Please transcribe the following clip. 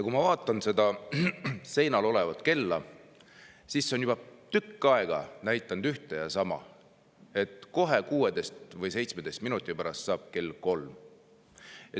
Kui ma vaatan seda seinal olevat kella, siis see on juba tükk aega näidanud ühte ja sama, et kohe, 16 või 17 minuti pärast saab kell kolm.